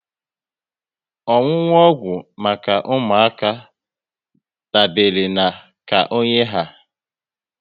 Ọṅụṅụ ọgwụ maka ụmụaka dabere na ka onye ha